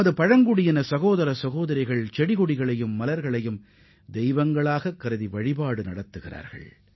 நமது பழங்குடியின சகோதர சகோதரிகள் மரங்கள் தாவரங்கள் மற்றும் மலர்களை கடவுளாகக் கருதி வணங்குகின்றனர்